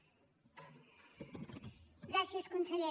gràcies conseller